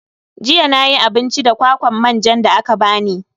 Jiya nayi abinci da kwakwar manjan da aka bani.